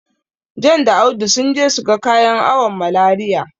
John da Audu sun je su ga kayan awon Malariya.